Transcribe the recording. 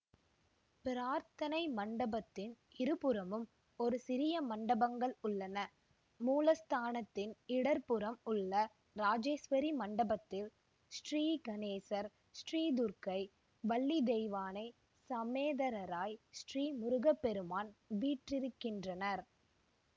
பிரார்த்தனை மண்டபத்தின் இருபுறமும் இரு சிறிய மண்டபங்கள் உள்ளன மூலஸ்தானத்தின் இட புறம் உள்ள ராஜேஸ்வரி மண்டபத்தில் ஸ்ரீகணேசர் ஸ்ரீதுர்கை வள்ளிதெய்வானை சமேதரராய் ஸ்ரீ முருகப்பெருமான் வீற்றிருக்கின்றனர்